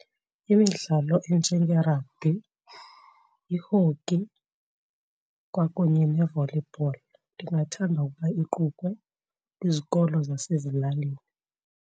Imidlalo enjenge-rugby, i-hockey kwakunye ne-volleyball ndingathanda ukuba iqukwe kwizikolo zasezilalini.